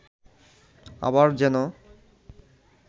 আবার যেন